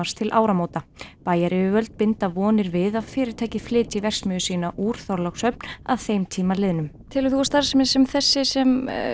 til áramóta bæjaryfirvöld binda vonir við að fyrirtækið flytji verksmiðju sína úr Þorlákshöfn að þeim tíma liðnum telur þú að starfsemi sem þessi sem